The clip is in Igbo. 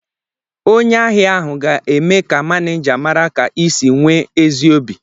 Onye ahịa ahụ ga-eme ka mánéjá mara ka ị si nwee ezi obi